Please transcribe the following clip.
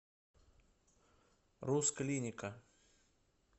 рус клиника